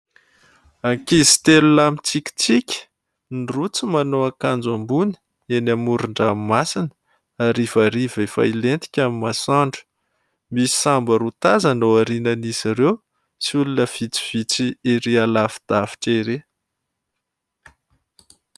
Ankizy telo lahy mitsikitsiky, ny roa tsy manao akanjo ambony, eny amoron-dramomasina, harivariva efa hilentika ny masoandro, misy sambo roa tazana aorian'izy ireo sy olona vitsivitsy ery lavidavitra ery.